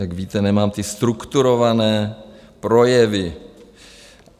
Jak víte, nemám ty strukturované projevy.